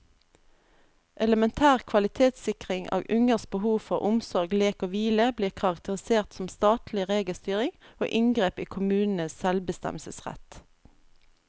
Elementær kvalitetssikring av ungers behov for omsorg, lek og hvile blir karakterisert som statlig regelstyring og inngrep i kommunenes selvbestemmelsesrett.